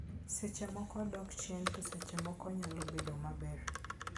Seche moko odok chien, to seche moko onyalo bedo maber.